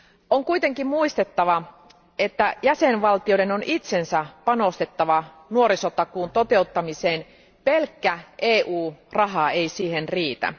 On kuitenkin muistettava, että jäsenvaltioiden on itsensä panostettava nuorisotakuun toteuttamiseen, pelkkä EU raha ei siihen riitä.